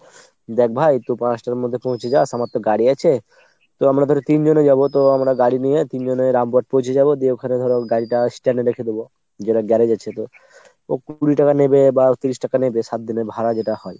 দ্যাখ ভাই তু পাঁচটার মধ্যে পৌঁছে যাস আমার তো গাড়ি আছে। তো আমরা ধরো তিনজনে যাবো তো আমরা গাড়ি নিয়ে তিনজনে রামপুরহাট পৌঁছে যাবো, দিয়ে ওখানে ধরো গাড়িটা stand এ রেখে দেব। যেটা garage আছে তো, ও কুড়ি টাকা নেবে বা তিরিশ টাকা নেবে সাত দিনের ভাড়া যেটা হয়।